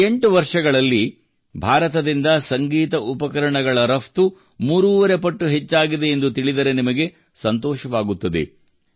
ಕಳೆದ 8 ವರ್ಷಗಳಲ್ಲಿ ಭಾರತದಿಂದ ಸಂಗೀತ ಉಪಕರಣಗಳ ರಫ್ತು ಮೂರೂವರೆ ಪಟ್ಟು ಹೆಚ್ಚಾಗಿದೆ ಎಂದು ತಿಳಿದರೆ ನಿಮಗೆ ಸಂತೋಷವಾಗುತ್ತದೆ